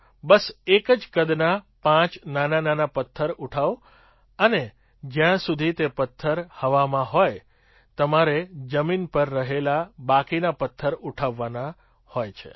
બસ એક જ કદના પાંચ નાનાનાના પથ્થર ઉઠાવો અને જ્યાં સુધી તે પથ્થર હવામાં હોય તમારે જમીન પર રહેલા બાકીના પથ્થર ઉઠાવવાના હોય છે